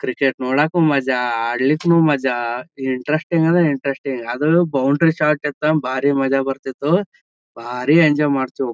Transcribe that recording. Cricket ನೋಡಾಕು ಮಜಾ ಅಡ್ಲಿಕ್ಕೂ ಮಜಾ ಇಂಟೆರೆಸ್ಟಿಂಗ್ ಅಂದ್ರೆ ಇಂಟೆರೆಸ್ಟಿಂಗ್ ಅದ್ರಲ್ಲೂ ಬೌಂಡರಿ ಶಾರ್ಟ್ ಇತ್ ಅಂದ್ರೆ ಬಾರಿ ಮಜಾ ಬರ್ತಿತ್ತು ಬಾರಿ ಎಂಜಾಯ್ ಮಾಡ್ತಿವ.